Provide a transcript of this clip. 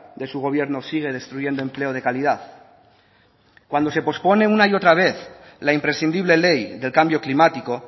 de su gobierno sigue destruyendo empleo de calidad cuando se pospone una y otra vez la imprescindible ley del cambio climático